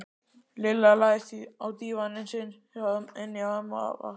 Lilla lagðist á dívaninn sinn inni hjá ömmu og afa.